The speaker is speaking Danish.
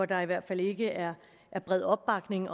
der i hvert fald ikke er bred opbakning